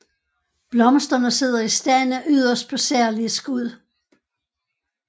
Blomsterne sidder i stande yderst på særlige skud